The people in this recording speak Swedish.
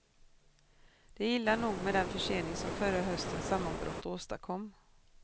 Det är illa nog med den försening som förra höstens sammanbrott åstadkom.